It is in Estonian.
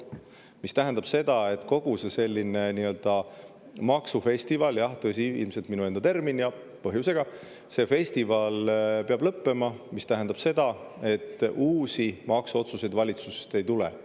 See tähendab seda, et kogu see selline nii‑öelda maksufestival – jah, tõsi, ilmselt minu enda termin, ja põhjusega – peab lõppema, mis tähendab seda, et uusi maksuotsuseid valitsusest ei tule.